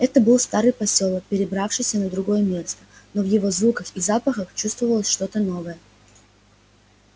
это был старый посёлок перебравшийся на другое место но в его звуках и запахах чувствовалось что то новое